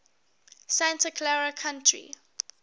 santa clara county